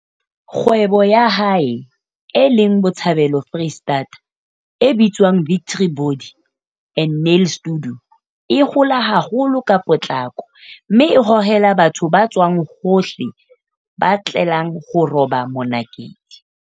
Kgwebo ya hae, e leng Botshabelo Freistata, e bitswang Victory Body and Nail Studio, e hola haholo ka potlako mme e hohela batho ba tswang hohle ba tlelang ho roba monakedi.